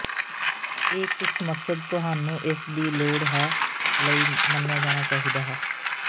ਇਹ ਕਿਸ ਮਕਸਦ ਤੁਹਾਨੂੰ ਇਸ ਦੀ ਲੋੜ ਹੈ ਲਈ ਮੰਨਿਆ ਜਾਣਾ ਚਾਹੀਦਾ ਹੈ